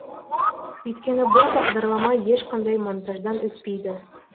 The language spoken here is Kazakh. өйткені бұл бағдарлама ешқандай монтаждан өтпейді